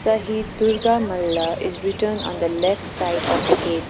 sahid durga malla is written on the left side of the gate.